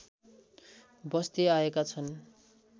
बस्दै आएका छन्